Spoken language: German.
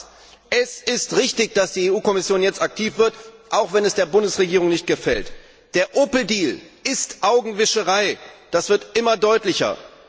Nochmals Es ist richtig, dass die EU Kommission jetzt aktiv wird, auch wenn es der Bundesregierung nicht gefällt. Der Opel Deal ist Augenwischerei, das wird immer deutlicher.